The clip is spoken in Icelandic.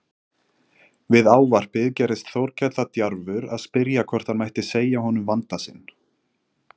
Við ávarpið gerðist Þórkell það djarfur að spyrja hvort hann mætti segja honum vanda sinn.